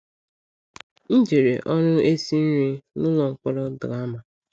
M jere ọrụ esi nri n’ụlọ mkpọrọ Drama.